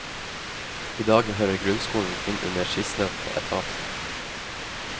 I dag hører grunnskolen inn under sistnevnte etat.